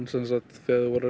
þegar þau voru